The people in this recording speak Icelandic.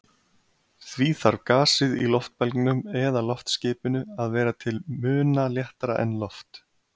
Því þarf gasið í loftbelgnum eða loftskipinu að vera til muna léttara en loft.